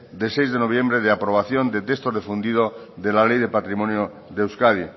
de seis de noviembre de aprobación de texto refundido de la ley de patrimonio de euskadi